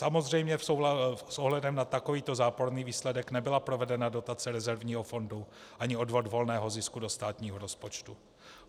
Samozřejmě s ohledem na takovýto záporný výsledek nebyla provedena dotace rezervního fondu ani odvod volného zisku do státního rozpočtu.